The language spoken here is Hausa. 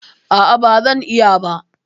A'a, ba zan iya ba